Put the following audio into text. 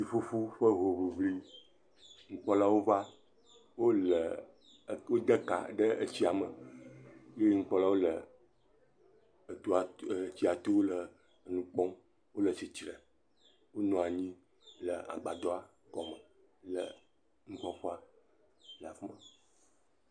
Ftsiƒuƒu ƒe hoŋliŋli. Nukpɔlawo va, wo le eto de ka ɖe etsia me ye nukpɔlawo le etɔa to etsia to le nu kpɔm. Wo le tsitre, wonɔ anyi le agbadɔa gɔme le nukpɔƒea le afi ma.